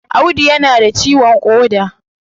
Audu ya na da ciwon koda